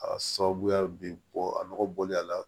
A sababuya be bɔ a nɔgɔ bɔli la